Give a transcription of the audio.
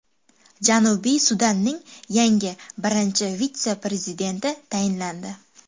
Janubiy Sudanning yangi birinchi vitse-prezidenti tayinlandi.